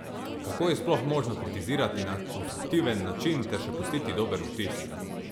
Kako je sploh možno kritizirati na konstruktiven način ter še pustiti dober vtis?